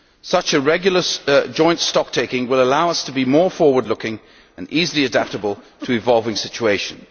Such a regular joint stocktaking will allow us to be more forward looking and easily adaptable to evolving situations.